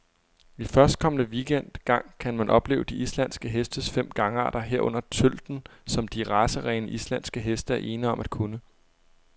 I førstkommende weekend gang kan man opleve de islandske hestes fem gangarter, herunder tølten, som de racerene, islandske heste er ene om at kunne.